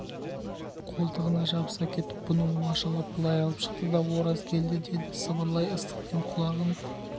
қолтығына жабыса кетіп бұны оңашалап былай алып шықты да ораз келді деді сыбырлай ыстық дем құлағын